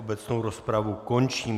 Obecnou rozpravu končím.